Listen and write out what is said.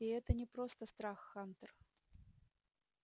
и это не просто страх хантер